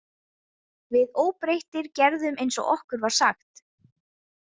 Við óbreyttir gerðum eins og okkur var sagt.